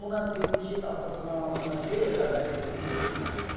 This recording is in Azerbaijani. dedim buna dedim ki, get atasını, anasına de, xəbər elə, bilsinlər.